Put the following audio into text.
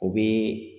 O bɛ